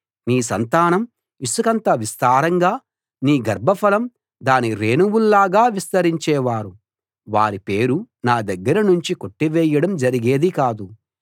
నీ సంతానం ఇసుకంత విస్తారంగా నీ గర్భఫలం దాని రేణువుల్లాగా విస్తరించేవారు వారి పేరు నా దగ్గర నుంచి కొట్టివేయడం జరిగేది కాదు